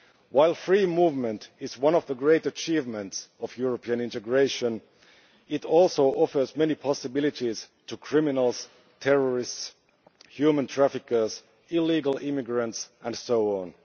While free movement is one of the great achievements of European integration, it also offers many possibilities to criminals, terrorists, human traffickers, illegal immigrants and so on.